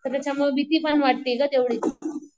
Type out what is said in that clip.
तर त्याच्यामुळं भीती पण वाटते गं तेवढीच.